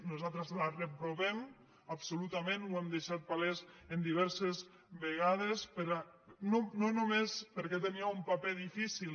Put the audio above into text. nosaltres la reprovem absolutament ho hem deixat palès diverses vegades no només perquè tenia un paper difícil